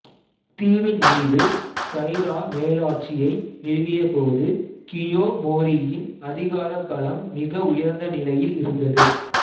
தீவின்மீது Taira மேலாட்சியை நிறுவியபோது கியோமோரியின் அதிகார பலம் மிக உயர்ந்த நிலையில் இருந்தது